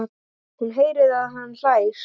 Hún heyrir að hann hlær.